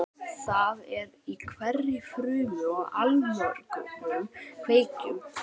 Það er í hverri frumu og allmörgum kveikjum.